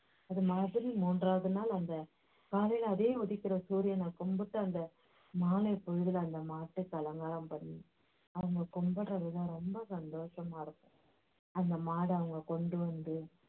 அதே மாதிரி மூன்றாவது நாள் அந்த காலையில அதே உதிக்கிற சூரியனைக் கும்பிட்டு அந்த மாலைப் பொழுதுல அந்த மாட்டுக்கு அலங்காரம் பண்ணி அவங்க கும்பிடற விதம் ரொம்ப சந்தோசமாயிருக்கும் அந்த மாடை அங்க கொண்டு வந்து